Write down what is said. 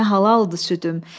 Sənə halaldır südüm.